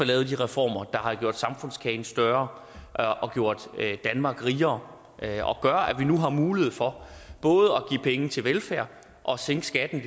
lavet de reformer der har gjort samfundskagen større og gjort danmark rigere og gør at vi nu har mulighed for både at give penge til velfærd og sænke skatten i